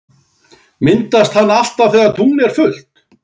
Myndast hann alltaf þegar tungl er fullt?